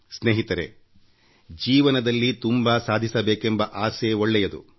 ಸ್ನೇಹಿತರೇ ಜೀವನದಲ್ಲಿ ತುಂಬಾ ಸಾಧಿಸಬೇಕೆಂಬ ಆಸೆ ಒಳ್ಳೆಯದು